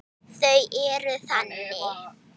Þau eru þannig.